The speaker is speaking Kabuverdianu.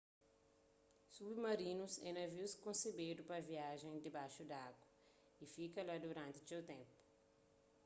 submarinus é navius konsebedu pa viaja dibaxu di agu y fika la duranti txeu ténpu